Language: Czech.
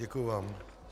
Děkuji vám.